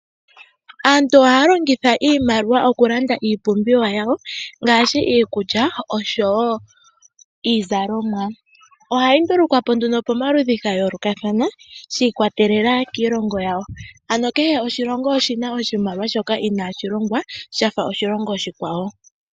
Aantu ohaya longitha iimaliwa okulanda iipumbiwa yawo, ngaashi iikulya, oshowo iizalomwa. Ohayi ndulukwapo nduno pamaludhi gayoolokathana, shi ikwatelela kiilongo yawo. Ano kehe oshilongo oshina oshimaliwa shoka inaashi longwa shafa oshilongo oshikwawo.